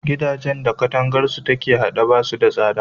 Gidajan da katangarsu take a haɗe, ba su da tsada.